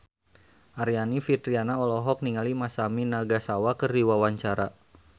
Aryani Fitriana olohok ningali Masami Nagasawa keur diwawancara